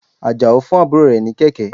Àjàó fún àbúrò rẹ̀ ní kẹ̀kẹ́.